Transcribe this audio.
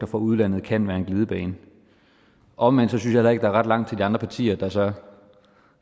fra udlandet kan være en glidebane omvendt synes jeg heller ikke ret langt til de andre partier der så